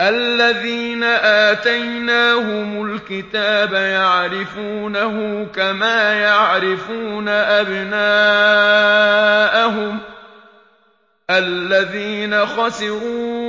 الَّذِينَ آتَيْنَاهُمُ الْكِتَابَ يَعْرِفُونَهُ كَمَا يَعْرِفُونَ أَبْنَاءَهُمُ ۘ الَّذِينَ خَسِرُوا